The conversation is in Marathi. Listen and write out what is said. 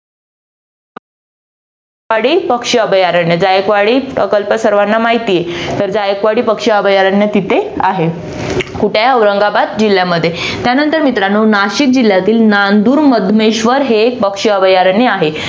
वाडी पक्षी अभयारण्य जायकवाडी प्रकल्प सर्वाना माहिती आहे तर जायकवाडी पक्षी अभयारण्य तिथे आहे कुठे औरंगाबाद जिल्यामध्ये त्यानंतर मित्रानो नाशिक जिल्ह्यातील नांदूर मधमेश्वर हे पक्षी अभयारण्य आहे.